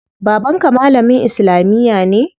Baban ka malamin islamiya ne?